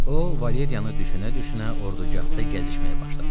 O, Valeriyanı düşünə-düşünə ordugahda gəzişməyə başladı.